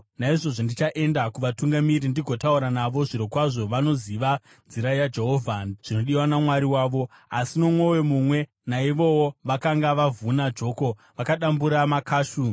Naizvozvo ndichaenda kuvatungamiri ndigotaura navo; zvirokwazvo vanoziva nzira yaJehovha, zvinodiwa naMwari wavo.” Asi nomwoyo mumwe, naivowo vakanga vavhuna joko, vakadambura makashu.